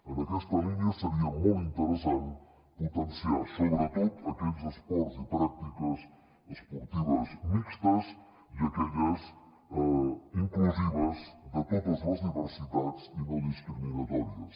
en aquesta línia seria molt interessant potenciar sobretot aquells esports i pràctiques esportives mixtes i aquelles inclusives de totes les diversitats i no discriminatòries